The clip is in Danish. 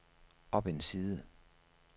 op en side